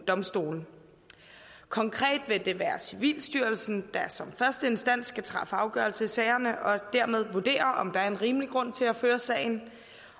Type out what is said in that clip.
domstole konkret vil det være civilstyrelsen der som første instans skal træffe afgørelse i sagerne og dermed vurdere om der er en rimelig grund til at føre sagen